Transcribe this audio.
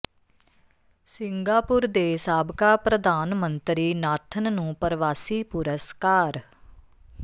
Singapore ਦੇ ਸਾਬਕਾ ਪ੍ਰਧਾਨ ਮੰਤਰੀ ਨਾਥਨ ਨੂੰ ਪਰਵਾਸੀ ਪੁਰਸਕਾਰ